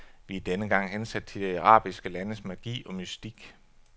Vi er denne gang hensat til de arabiske landes magi og mystik.